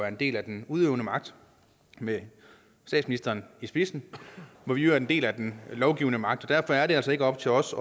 en del af den udøvende magt med statsministeren i spidsen og hvor vi er en del af den lovgivende magt og derfor er det altså ikke op til os